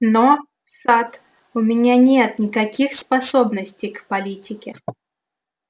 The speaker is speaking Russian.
но сатт у меня нет никаких способностей к политике